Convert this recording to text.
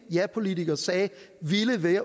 japolitikere sagde